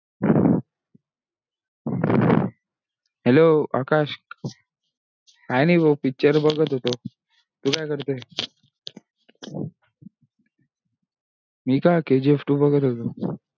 hello Akash. काय नाही भाऊ picture बघत होतो. तू काय करतोये. मी पहा kgf two बघत होतो.